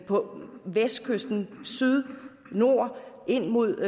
på vestkysten i syd i nord ind mod